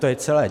To je celé.